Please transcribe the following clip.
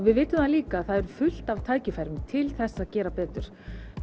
við vitum það líka að það er fullt af tækifærum til þess að gera betur